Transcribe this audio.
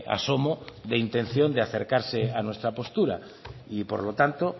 asomo de intención de acercarse a nuestra postura y por lo tanto